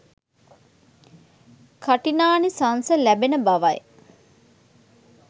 කඨිනානිසංස ලැබෙන බවයි.